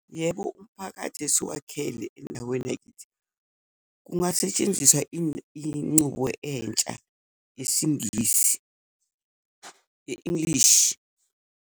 Yebo, umphakathi esiwakhele endaweni yakithi kungasetshenziswa incubo entsha yesiNgisi, ye-English.